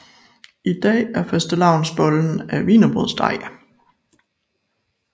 I dag er fastelavnsbollen af wienerbrødsdej